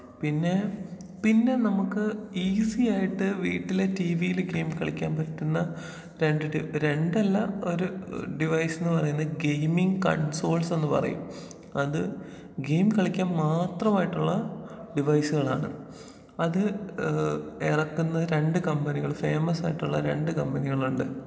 പിന്നേ പിന്നെ നമുക്ക് ഈസി ആയിട്ട് വീട്ടിലെ ടീവിയില് ഗെയിം കളിക്കാൻ പറ്റുന്ന രണ്ട് ടൈപ്പ് രണ്ടല്ല ഒരു ഡിവൈസ് എന്ന് പറയുന്നേ ഗെയിമിങ് കൺസോൾസെന്ന് പറയും. അത് ഗെയിം കളിക്കാൻ മാത്രമായിട്ടുള്ള ഡിവൈസുകളാണ്. അത് ഏഹ് എറക്കുന്നത് രണ്ട് കമ്പനികള് ഫെയ്മസ് ആയിട്ടുള്ള രണ്ട് കമ്പനികളുണ്ട്.